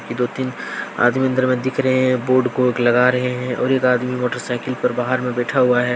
दो तीन आदमी अंदर में दिख रहे हैं बोर्ड को हुक लगा रहे हैं और एक आदमी मोटरसाइकिल पे बाहर में बैठा हुआ है ।